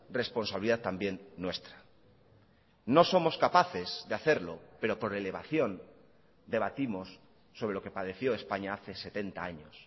responsabilidad también nuestra no somos capaces de hacerlo pero por elevación debatimos sobre lo que padeció españa hace setenta años